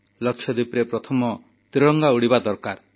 ଲାକ୍ଷାଦ୍ୱୀପରେ ପ୍ରଥମେ ତ୍ରିରଙ୍ଗା ଉଡ଼ିବା ଦରକାର